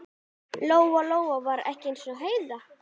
Lóa Lóa var ekki eins og Heiða